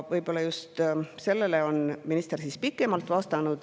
Võib-olla just sellele vastas minister pikemalt.